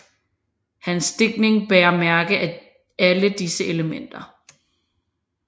Hans digtning bærer mærker af alle disse elementer